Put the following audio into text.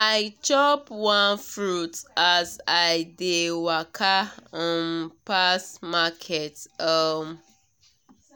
i chop one fruit as i dey waka um pass market. um